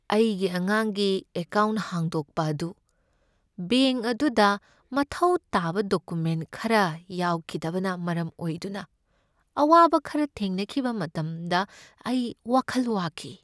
ꯑꯩꯒꯤ ꯑꯉꯥꯡꯒꯤ ꯑꯦꯀꯥꯎꯟꯠ ꯍꯥꯡꯗꯣꯛꯄ ꯑꯗꯨ ꯕꯦꯡꯛ ꯑꯗꯨꯗ ꯃꯊꯧ ꯇꯥꯕ ꯗꯣꯀꯨꯃꯦꯟꯠ ꯈꯔ ꯌꯥꯎꯈꯤꯗꯕꯅ ꯃꯔꯝ ꯑꯣꯏꯗꯨꯅ ꯑꯋꯥꯕ ꯈꯔ ꯊꯦꯡꯅꯈꯤꯕ ꯃꯇꯝꯗ ꯑꯩ ꯋꯥꯈꯜ ꯋꯥꯈꯤ꯫